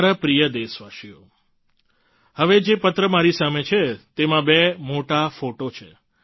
મારા પ્રિય દેશવાસીઓ હવે જે પત્ર મારી સામે છે તેમાં બે મોટા ફોટો છે